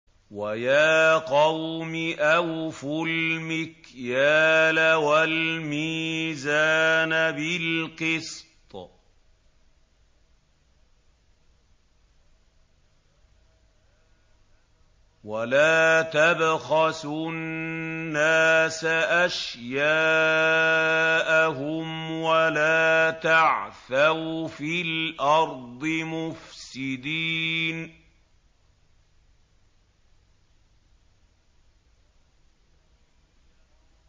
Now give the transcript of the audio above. وَيَا قَوْمِ أَوْفُوا الْمِكْيَالَ وَالْمِيزَانَ بِالْقِسْطِ ۖ وَلَا تَبْخَسُوا النَّاسَ أَشْيَاءَهُمْ وَلَا تَعْثَوْا فِي الْأَرْضِ مُفْسِدِينَ